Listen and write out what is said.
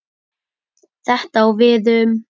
Þetta á við um